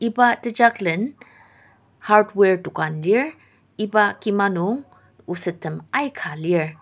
iba tejaklen hardware dokan lir iba kima nung osettem aika lir.